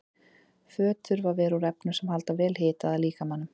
Föt þurfa að vera úr efnum sem halda vel hita að líkamanum.